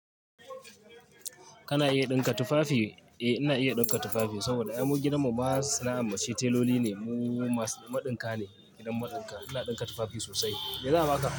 Kana iya ɗinka tufafi? Eh, ina iya ɗinka tufafi. Saboda ai mu gidan mu ma sana'ar muce teloli ne mu. Mu masu maɗinka ne, gidan maɗinka. Ina ɗinka tufafi sosai. Mi za a baka?